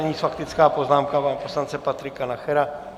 Nyní faktická poznámka pana poslance Patrika Nachera.